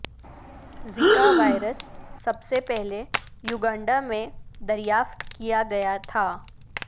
زکا وائرس سب سے پہلے یوگنڈا میں دریافت کیا گیا تھا